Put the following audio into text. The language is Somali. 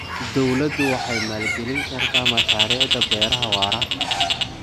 Dawladdu waxay maalgelin kartaa mashaariicda beeraha waara.